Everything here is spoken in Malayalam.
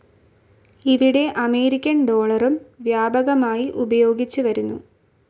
ഇവിടെ അമേരിക്കൻ ഡോളറും വ്യാപകമായി ഉപയോഗിച്ചുവരുന്നു.